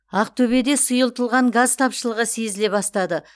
ақтөбеде сұйытылған газ тапшылығы сезіле бастады